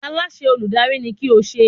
Aláṣẹ Olùdarí ni kí o se